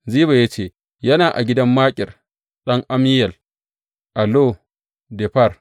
Ziba ya ce, Yana a gidan Makir ɗan Ammiyel a Lo Debar.